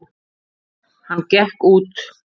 Hann gekk út.